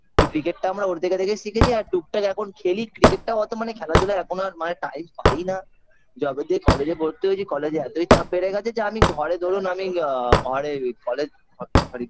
ওই Cricket -টা আমরা ওর দেখে দেখেই শিখেছি আর টুকটাক এখন খেলি cricket -টা অত মানে খেলাধুলা এখন আর মানে time পাইনা যবে দিয়ে college -এ ভর্তি হয়েছি college -এ এতই চাপ বেড়ে গেছে যে আমি ঘরে ধরুন আমি আ ঘরে college sorry